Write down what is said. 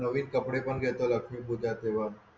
नवीन कपडे पण घेयला लागतील तुझ्या आशेवर